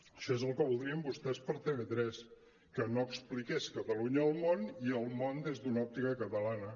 això és el que voldrien vostès per a tv3 que no expliqués catalunya al món i el món des d’una òptica catalana